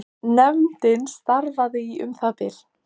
Húsameistari leggur mikla áherslu á að pappinn komist á þakið.